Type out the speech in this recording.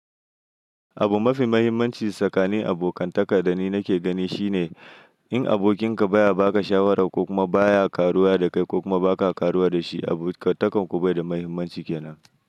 Abu mafi mahimmanci tsakanin abokantaka da ni nake gani shine, in abokinka baya baka shawara ko kuma baya ƙaruwa da kai ko kuma baka ƙaruwa da shi, abokantakan ku bai da mahimmanci kenan.